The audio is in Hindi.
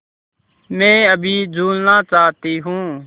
मैं अभी झूलना चाहती हूँ